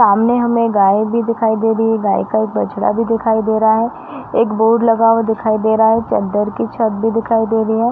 सामने हमें गाय भी दिखाई दे रही है। गाय का एक बछड़ा भी दिखाई दे रहा है। एक बोर्ड लगा हुआ दिखाई दे रहा है चद्दर की छत भी दिखाई दे रही है।